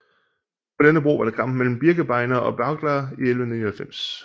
På denne bro var der kampe mellem birkebeinere og baglere i 1199